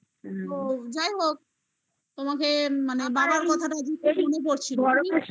তো যাই হোক তোমাকে মানে বাবার কথাটা জুতো মনে পড়ছিল